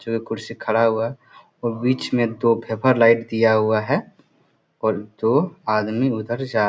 जो ये कुर्सी खड़ा हुआ है और बीच में दो भैपर लाइट दिया हुआ है और दो आदमी उधर जा --